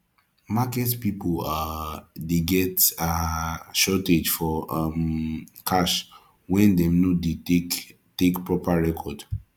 market pipo um de get um shortage for um cash when dem no de take take proper record